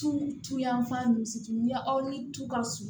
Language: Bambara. Tu tu yanfan nin misi ɲɛ aw ni tu ka surun